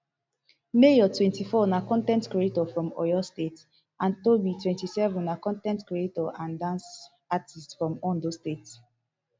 mayor twenty-four na con ten t creator from oyo state and toby twenty-seven na con ten t creator and dance artiste from ondo state